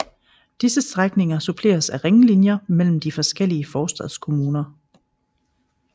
Disse strækninger suppleredes af ringlinjer mellem de forskellige forstadskommuner